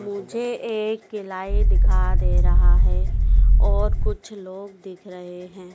मुझे एक किलाए दिखा दे रहा है और कुछ लोग दिख रहे है।